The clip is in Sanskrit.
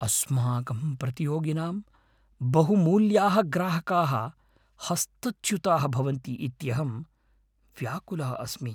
अस्माकं प्रतियोगिनां बहुमूल्याः ग्राहकाः हस्तच्युताः भवन्ति इत्यहं व्याकुलः अस्मि।